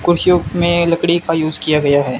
कुर्सियों में लकड़ी का यूस किया गया है।